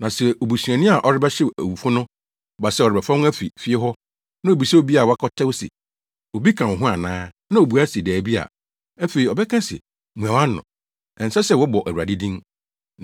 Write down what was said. Na sɛ obusuani a ɔrebɛhyew awufo no ba sɛ ɔrebɛfa wɔn afi fie hɔ na obisa obi a wakɔtɛw se, “Obi ka wo ho ana?” Na obua se, “Dabi” a, afei ɔbɛka se, “Mua wʼano!” Ɛnsɛ sɛ wɔbɔ Awurade din.